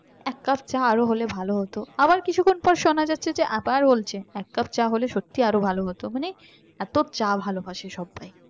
এক কাপ চা আরো হলে ভালো হতো আবার কিছুক্ষণ পর শোনা যাচ্ছে যে আবার বলছে এক কাপ চা হলে সত্যি আরো ভালো হতো